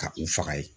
Ka u faga ye